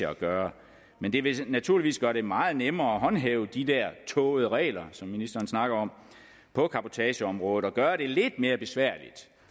at gøre men det vil naturligvis gøre det meget nemmere at håndhæve de der tågede regler som ministeren snakker om på cabotageområdet og gøre det lidt mere besværligt